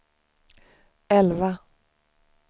elva